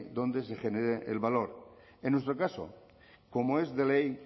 donde se genere el valor en nuestro caso como es de ley